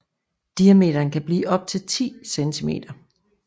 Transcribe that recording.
Diameteren kan blive op til 10 cm